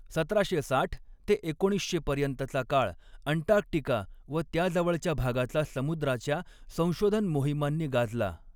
सतराशे साठ ते एकोणीसशे पर्यंतचा काळ अंटार्क्टिका व त्याजवळच्या भागाचा समुद्राच्या संशोधन मोहिमांनी गाजला.